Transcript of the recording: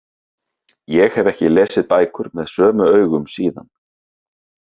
Ég hef ekki lesið bækur með sömu augum síðan.